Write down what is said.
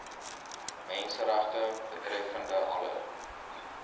menseregte betreffende alle